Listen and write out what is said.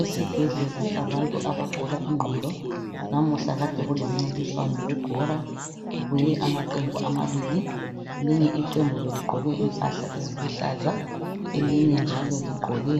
Esibhedlela sabantu abagula ingqondo namuhla kade kulomncintiswano webhola kubuye amaqembu amabili elinye iqembu beligqoke impahla eziluhlaza elinye njalo ligqoke